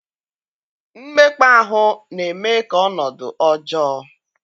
mmekpa ahụ na-eme ka ọnọdụ ọjọọ.